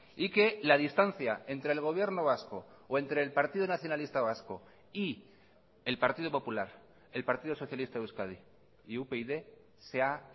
y que la distancia entre el gobierno vasco o entre el partido nacionalista vasco y el partido popular el partido socialista de euskadi y upyd se ha